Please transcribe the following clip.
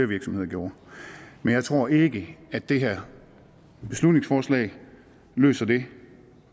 virksomheder gjorde men jeg tror ikke at det her beslutningsforslag løser det